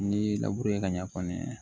N'i ka ɲɛ kɔni